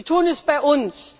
Wir tun es bei uns.